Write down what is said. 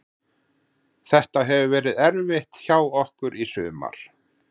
Þetta hefur verið erfitt hjá okkur í sumar.